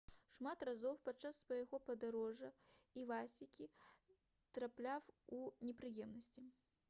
шмат разоў падчас свайго падарожжа івасакі трапляў у непрыемнасці